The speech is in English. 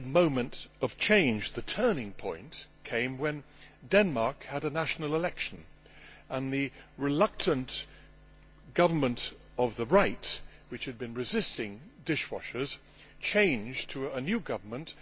The big moment of change the turning point came when Denmark had a national election, and the reluctant government of the right which had been resisting dishwashers changed to a new government.